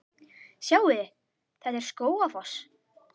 Sjáiði! Þetta er Skógafoss.